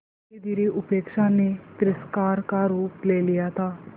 धीरेधीरे उपेक्षा ने तिरस्कार का रूप ले लिया था